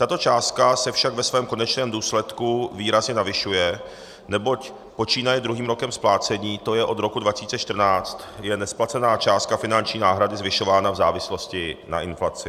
Tato částka se však ve svém konečném důsledku výrazně navyšuje, neboť počínaje druhým rokem splácení, to je od roku 2014, je nesplacená částka finanční náhrady zvyšována v závislosti na inflaci.